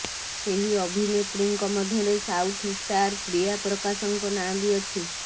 ସେହି ଅଭିନେତ୍ରୀଙ୍କ ମଧ୍ୟରେ ସାଉଥ୍ ଷ୍ଟାର ପ୍ରିୟା ପ୍ରକାଶଙ୍କ ନାଁ ବି ଅଛି